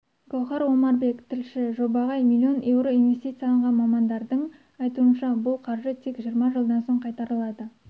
гауһар омарбек тілші жобаға миллион еуро инвестицияланған мамандардың айтуынша бұл қаржы тек жиырма жылдан соң қайтарылады